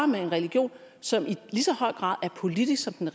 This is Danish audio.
med en region som i lige så høj grad er politisk som den